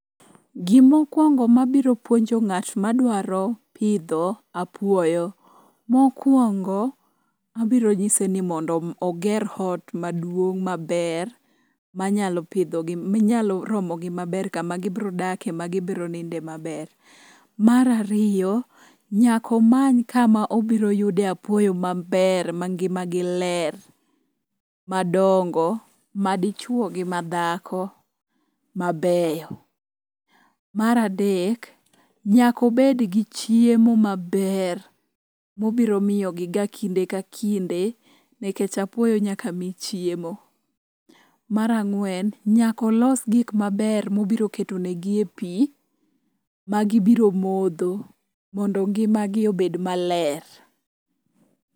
Gimokwongo mabiro puonjo ng'at ma dwaro pidho apuoyo mokwongo, abiro nyise ni oger hot maduong' maber manyalo romogi maber kama gibrodake magibroninde maber. Mar ariyo, nyaka omany kama obiroyude apuoyo maber mangimagi ler madongo madichwo gi madhako mabeyo. Mar adek, nyakobed gi chiemo maber mobiro miyogiga kinde ka kinde nikech apuoyo nyaka mi chiemo. Mar ang'wen, nyakolos gik maber mobiro ketonigi e pi magibiro modho mondo ngimagi obed maler.